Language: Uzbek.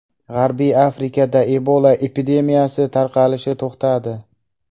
G‘arbiy Afrikada Ebola epidemiyasi tarqalishi to‘xtadi.